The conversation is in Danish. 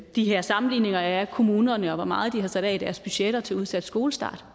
de her sammenligninger af kommunerne og hvor meget de har sat af i deres budgetter til en udsat skolestart